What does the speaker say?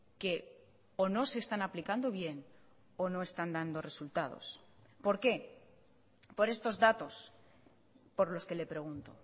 que o no se están aplicando bien o no están dando resultados por qué por estos datos por los que le pregunto